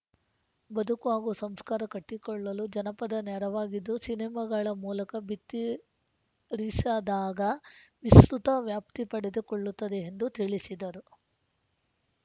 ಬದುಕು ಹಾಗೂ ಸಂಸ್ಕಾರ ಕಟ್ಟಿಕೊಳ್ಳಲು ಜನಪದ ನೆರವಾಗಿದ್ದು ಸಿನಿಮಾಗಳ ಮೂಲಕ ಬಿತ್ತಿರಿಸಿದಾಗ ವಿಸ್ತೃತ ವ್ಯಾಪ್ತಿ ಪಡೆದುಕೊಳ್ಳುತ್ತದೆ ಎಂದು ತಿಳಿಸಿದರು